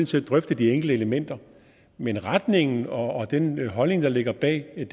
til at drøfte de enkelte elementer men retningen og den holdning der ligger bag